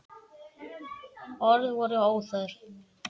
Orð voru óþörf.